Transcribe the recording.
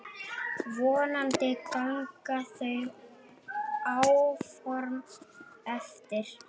Vonandi ganga þau áform eftir.